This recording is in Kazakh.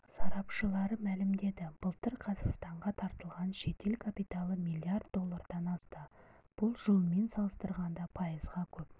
сарапшылары мәлімдеді былтыр қазақстанға тартылған шетел капиталы миллиард доллардан асты бұл жылмен салыстырғанда пайызға көп